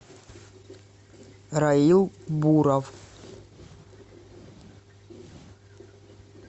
раил буров